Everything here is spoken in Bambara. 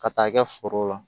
Ka taa kɛ foro la